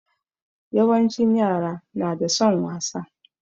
Yawancin yara na da son wasa.